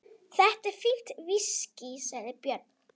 Þetta er fínt viskí, sagði Björn.